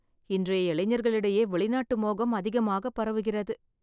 இன்றைய இளைஞர்களிடையே வெளிநாட்டு மோகம் அதிகமாக பரவுகிறது.